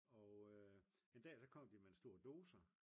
og en dag så kom de med en stor dozer